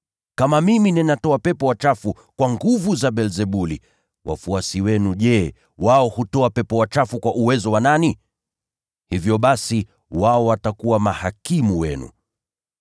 Kama mimi natoa pepo wachafu kwa nguvu za Beelzebuli, wafuasi wenu nao je, wao hutoa pepo wachafu kwa uwezo wa nani? Hivyo basi, wao ndio watakaowahukumu.